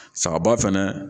Saga ba fɛnɛ